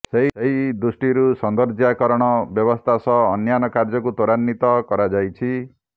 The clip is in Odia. ସେହି ଦୃଷ୍ଟିରୁ ସୌନ୍ଦର୍ଯ୍ୟାକରଣ ବ୍ୟବସ୍ଥା ସହ ଅନ୍ୟାନ୍ୟ କାର୍ଯ୍ୟକୁ ତ୍ୱରାନ୍ୱିତ କରାଯାଇଛି